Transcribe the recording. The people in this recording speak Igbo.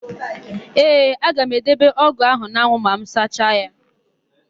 Ee, aga m edebe ọ́gụ̀ áhụ̀ n'anwụ ma m sacha ya.